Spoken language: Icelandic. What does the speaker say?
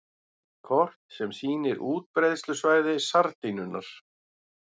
Kort sem sýnir útbreiðslusvæði sardínunnar.